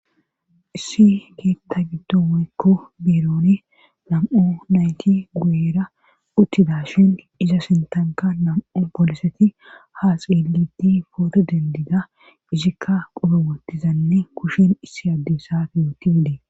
Issi keetta gidooykko birooni lam'u nayti guera uttida shin iza sintanka nam'u boliseti ha xeelitti booto dendida izikka qoro wottizanne kushin issi addessafi yooti gide.